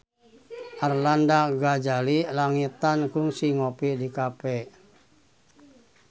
Arlanda Ghazali Langitan kungsi ngopi di cafe